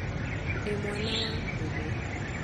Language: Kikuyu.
Ndĩ mwana wa mũmwe